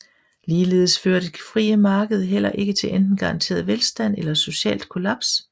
Ligeledes fører det frie marked heller ikke til enten garanteret velstand eller socialt kollaps